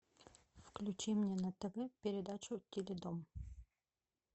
включи мне на тв передачу теледом